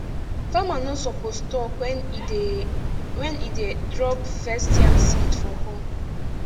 farmer no suppose talk when e dey when e dey drop first yam seed for hole